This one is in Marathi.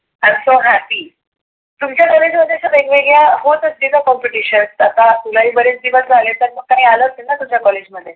i am so happy तुमच्या कॉलेज मध्ये असं वेगवेगळ्या होत असतील ना competition आता तुला ही बरेच दिवस झाले तर मग काही आलं असेल ना तुझ्या कॉलेज मध्ये.